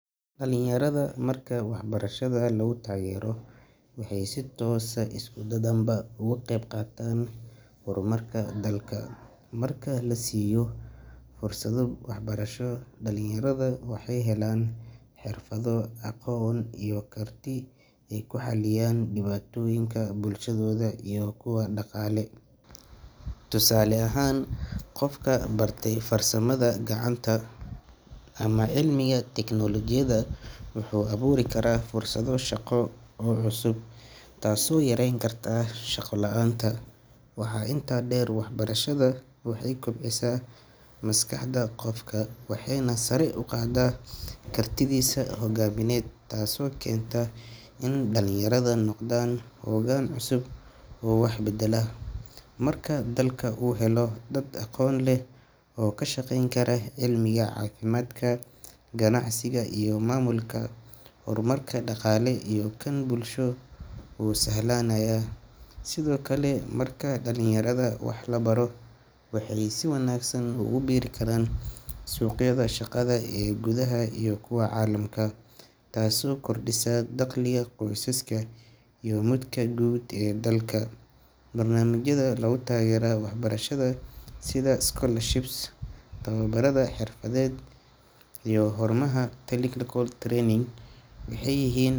Dhallinyarada marka waxbarashada lagu taageero, waxay si toos ah iyo si dadbanba uga qaybqaataan horumarka dalka. Marka la siiyo fursado waxbarasho, dhallinyarada waxay helaan xirfado, aqoon iyo karti ay ku xalliyaan dhibaatooyinka bulshadooda iyo kuwa dhaqaale. Tusaale ahaan, qofka bartay farsamada gacanta ama cilmiga tiknoolajiyadda wuxuu abuuri karaa fursado shaqo oo cusub, taasoo yareyn karta shaqo la'aanta. Waxaa intaa dheer, waxbarashada waxay kobcisaa maskaxda qofka waxayna sare u qaadaa kartidiisa hogaamineed, taasoo keenta in dhallinyarada noqdaan hoggaan cusub oo wax beddela. Marka dalka uu helo dad aqoon leh oo ka shaqayn kara cilmiga, caafimaadka, ganacsiga iyo maamulka, horumarka dhaqaale iyo kan bulsho wuu sahlanaanayaa. Sidoo kale, marka dhallinyarada wax la baro, waxay si wanaagsan ugu biiri karaan suuqyada shaqada ee gudaha iyo kuwa caalamka, taasoo kordhisa dakhliga qoysaska iyo midka guud ee dalka. Barnaamijyada lagu taageero waxbarashada sida scholarships, tababarrada xirfadeed, iyo xarumaha technical training waxay yihiin.